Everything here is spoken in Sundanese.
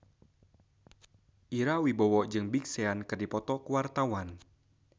Ira Wibowo jeung Big Sean keur dipoto ku wartawan